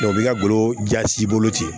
o bi ka bolo ja si bolo ten